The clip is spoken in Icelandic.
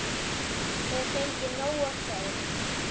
Hef fengið nóg af þeim.